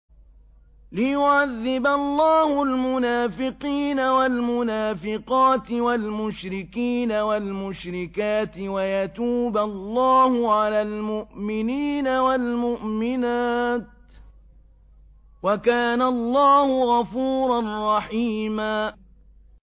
لِّيُعَذِّبَ اللَّهُ الْمُنَافِقِينَ وَالْمُنَافِقَاتِ وَالْمُشْرِكِينَ وَالْمُشْرِكَاتِ وَيَتُوبَ اللَّهُ عَلَى الْمُؤْمِنِينَ وَالْمُؤْمِنَاتِ ۗ وَكَانَ اللَّهُ غَفُورًا رَّحِيمًا